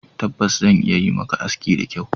Tabbas! Zan iya yi maka aski da kyau